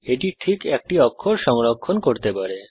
এটি ঠিক একটি অক্ষর সংরক্ষণ করতে পারে